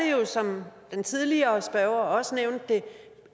jo som den tidligere spørger også nævnte